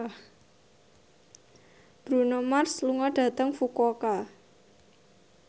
Bruno Mars lunga dhateng Fukuoka